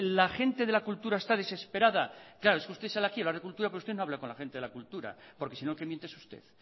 la gente de la cultura está desesperada claro es que usted aquí sí habla de cultura pero usted no habla con la gente de la cultura porque sino quien miente es usted